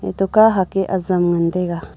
eto ka hak e azam ngan tai ga.